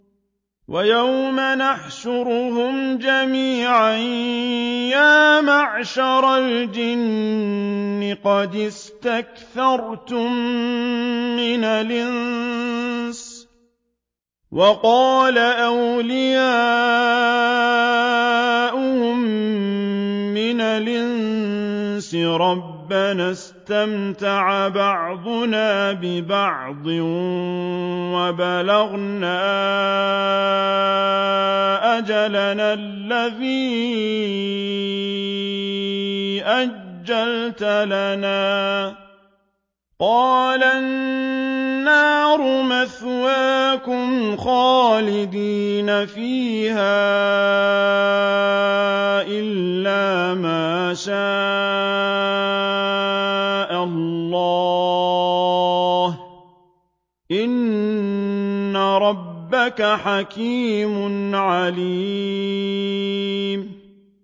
وَيَوْمَ يَحْشُرُهُمْ جَمِيعًا يَا مَعْشَرَ الْجِنِّ قَدِ اسْتَكْثَرْتُم مِّنَ الْإِنسِ ۖ وَقَالَ أَوْلِيَاؤُهُم مِّنَ الْإِنسِ رَبَّنَا اسْتَمْتَعَ بَعْضُنَا بِبَعْضٍ وَبَلَغْنَا أَجَلَنَا الَّذِي أَجَّلْتَ لَنَا ۚ قَالَ النَّارُ مَثْوَاكُمْ خَالِدِينَ فِيهَا إِلَّا مَا شَاءَ اللَّهُ ۗ إِنَّ رَبَّكَ حَكِيمٌ عَلِيمٌ